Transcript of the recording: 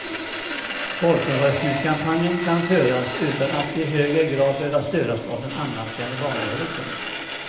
Folkomröstningskampanjen kan föras utan att i högre grad behöva störas av den annalkande valrörelsen.